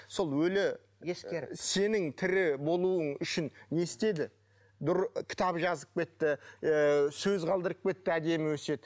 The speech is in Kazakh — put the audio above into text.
сол өлі сенің тірі болуың үшін не істеді кітап жазып кетті ы сөз қалдырып кетті әдемі өсиет